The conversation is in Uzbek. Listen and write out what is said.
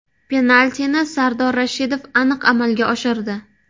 Penaltini Sardor Rashidov aniq amalga oshirdi.